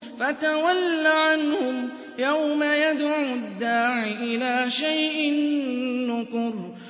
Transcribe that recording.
فَتَوَلَّ عَنْهُمْ ۘ يَوْمَ يَدْعُ الدَّاعِ إِلَىٰ شَيْءٍ نُّكُرٍ